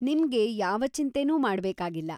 ನಿಮ್ಗೆ ಯಾವ ಚಿಂತೆನೂ ಮಾಡ್ಬೇಕಾಗಿಲ್ಲ.